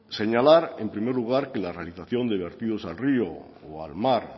señalar en primer lugar la realización de vertidos al río o al mar